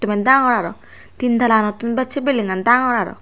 dagor tin talaunotun bech se bilding dagor aro.